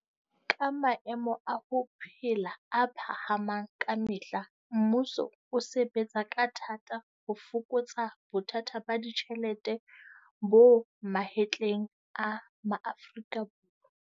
Ka maemo a ho phela a phahamang ka me hla mmuso o sebe tsa ka thata ho fokotsa bothata ba ditjhelete bo mahetleng a Maaforika.